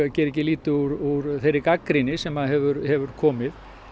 geri ekki lítið úr þeirri gagnrýni sem hefur hefur komið